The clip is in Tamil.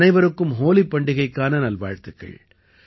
அனைவருக்கும் ஹோலிப் பண்டிகைக்கான நல்வாழ்த்துக்கள்